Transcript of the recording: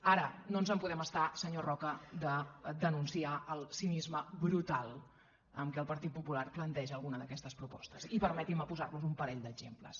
ara no ens en podem estar senyor roca de denunciar el cinisme brutal amb què el partit popular planteja alguna d’aquestes propostes i permetin me posar los un parell d’exemples